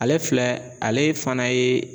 Ale filɛ ,ale fana ye